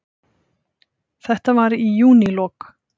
Þetta var í júnílok.